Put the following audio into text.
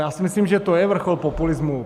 Já si myslím, že to je vrchol populismu.